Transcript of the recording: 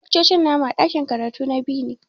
Laccoci na mu a ɗakin karatu na B ne.